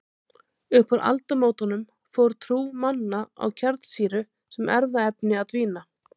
Upp úr aldamótunum fór trú manna á kjarnsýru sem erfðaefni að dvína.